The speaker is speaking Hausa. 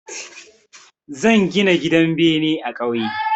Zan gina gidan bene a ƙauye.